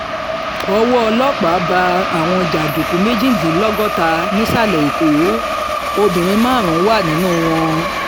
ọwọ́ ọlọ́pàá bá àwọn jàǹdùkú méjìdínlọ́gọ́ta nísàlẹ̀ èkó obìnrin márùn-ún wà nínú wọn